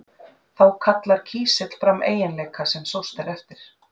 þá kallar kísill fram eiginleika sem sóst er eftir